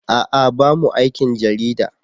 A'a bamu aikin jarida.